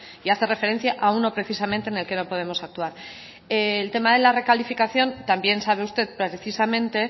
y hace referencia a uno precisamente en el que no podemos actuar el tema de la recalificación también sabe usted precisamente